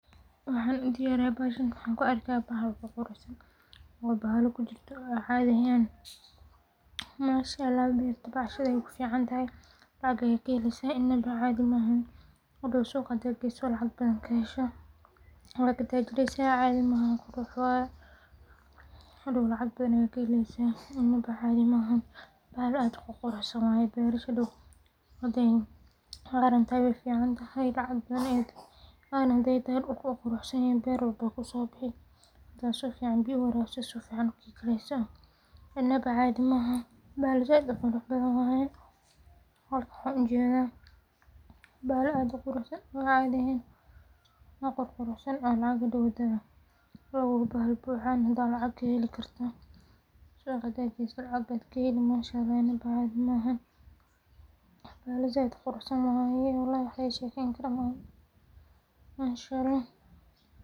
Waxan u diyariya bahasahan kuarka bahal ququruxsan o bahala kujirto o cadi ahyn maasha alah bahasahn bahasahn waxay kufican tahay lacag aad kaheleysa inaba cadi mahan qadow suuqa hada geyso lacag badan kahesho wa katajirrysa cadi mahan qurux waaya hadow lacag badan a keheleysa inaba cadi mahan bahal ad u quruxsan waya wey ficantahay lacag badan wey quqrusanyahin berwalba wey kusobixi hada sifican biyo u warabiso wey kareysa inaba cadi maahan bahal zaaid uqurux badan waya marka waxan u jeda bahal ad u qurusan waya cadi ahen o ququrusan o hado bahala buxan unba lacag kuheli karta bahala zaid uquruxsan waxa lagashekeyn kaara maha masaha alah.